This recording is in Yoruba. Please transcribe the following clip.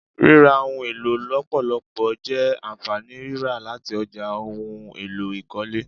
Rírà ohun èlò lọpọlọpọ je ànfàní rírà láti ọjà ohùn èlò ikọle